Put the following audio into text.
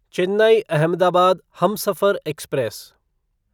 Chennai Ahmedabad Humsafar express